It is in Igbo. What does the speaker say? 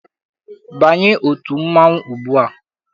Banye otu mmanwụ ugbua!